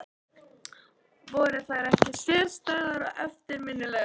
Voru þær ekki sérstæðar og eftirminnilegar?